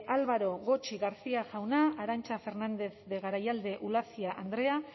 álvaro gotxi garcía jauna arantza fernandez de garayalde ulacia andrea